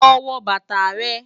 Lọ wọ bátà rẹ̀.